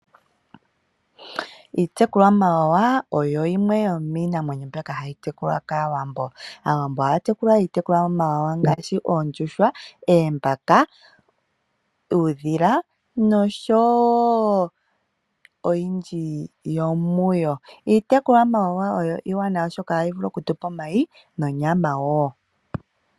Iitekulwamawawa oyo yimwe yomiinamwenyo mbyoka hayi tekulwa kAawambo. Aawambo ohaya tekula iitekulwamawawa ngaashi oondjuhwa, eembaka, uudhila nosho wo. Iitekulwamawawa oyo iiwanawa, oshoka ohayi vulu okutupa omayi nonyama.